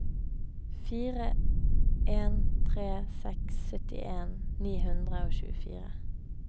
fire en tre seks syttien ni hundre og tjuefire